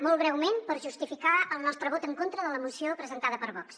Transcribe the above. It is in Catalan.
molt breument per justificar el nostre vot en contra de la moció presentada per vox